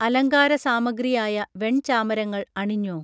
അലങ്കാരസാമഗ്രിയായ വെൺചാമരങ്ങൾ അണിഞ്ഞൊ